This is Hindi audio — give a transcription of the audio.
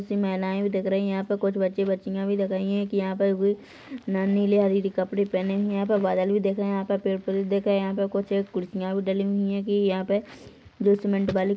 उसी मिलाए भी दिख रही है यहाँ पर कुछ बच्चे-बच्चियाँ भी दिख रहे है एक यहाँ पर कोई नर नीले कपड़े पहने है यहाँ पर बादल भी दिख रहे है यहाँ पर पेड़-पौधे भी दिख रहे है यहाँ पर कुछ खुर्सिया भी डली हुई है की यहाँ पे जो सीमेंट वाली --